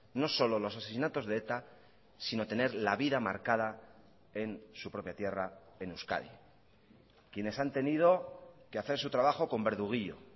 no solo los asesinatos de eta sino tener la vida marcada en su propia tierra en euskadi quienes han tenido que hacer su trabajo con verduguillo